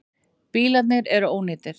Bílarnir eru ónýtir.